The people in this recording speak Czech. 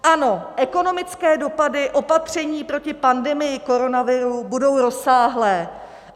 Ano, ekonomické dopady opatření proti pandemii koronaviru budou rozsáhlé.